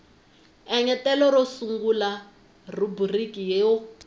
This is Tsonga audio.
engetela ro sungula rhubiriki yo